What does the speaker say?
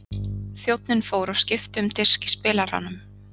Þjónninn fór og skipti um disk í spilaranum.